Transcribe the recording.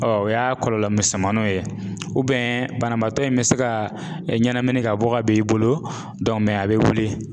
o y'a kɔlɔlɔ misɛnmaninw ye banabaatɔ in bɛ se ka ɲɛnamini ka bɔ ka ben i bolo a bɛ wuli.